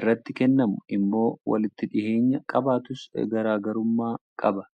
irratti kennamu immoo walitti dhiheenya qabaatus garagarummaa qaba.